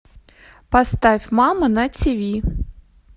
поставь мама на тиви